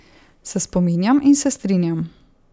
Se spominjam in se strinjam.